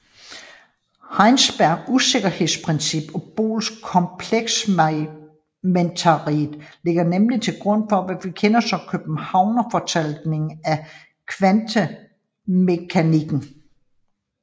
Heisenbergs usikkerhedsprincip og Bohrs komplementaritet ligger nemlig til grund for hvad vi kender som Københavnerfortolkningen af kvantemekanikken